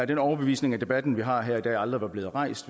den overbevisning at debatten vi har her i dag aldrig var blevet rejst